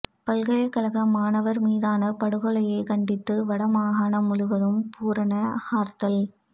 பல்கலைக்கழக மாணவர் மீதான படுகொலையை கண்டித்து வடமாகாணம் முழுவதும் பூரண ஹர்த்தால்